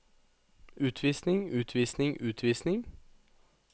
utvisning utvisning utvisning